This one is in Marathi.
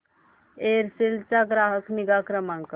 एअरसेल चा ग्राहक निगा क्रमांक